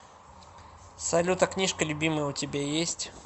салют а книжка любимая у тебя есть